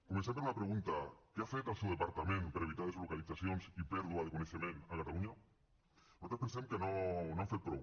comencem per una pregunta què ha fet el seu departament per evitar deslocalitzacions i pèrdua de coneixement a catalunya nosaltres pensem que no han fet prou